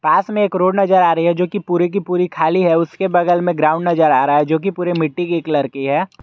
पास में एक रोड नजर आ रही है जो कि पूरी की पूरी खाली है उसके बगल में ग्राउंड नजर आ रहा है जो कि पूरे मिट्टी की कलर की है।